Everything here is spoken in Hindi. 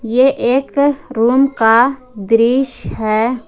यह एक रूम का दृश्य है ।